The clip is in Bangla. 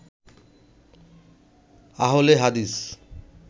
আহলে হাদিস